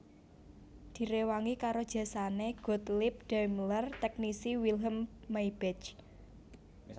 Direwangi karo jasane Gottlieb Daimler teknisi Wilhelm Maybach